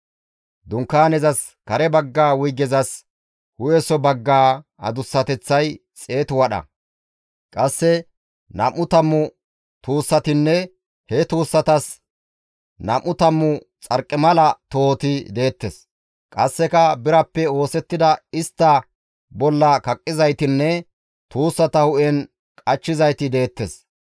Dunkaanezas kare bagga wuygezas hu7eso baggaa adussateththay xeetu wadha; qasse nam7u tammu tuussatinne he tuussatas nam7u tammu xarqimala tohoti deettes. Qasseka birappe oosettida istta bolla kaqqizaytinne tuussata hu7en qachchizayti deettes.